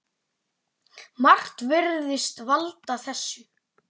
Margt virðist valda þessu.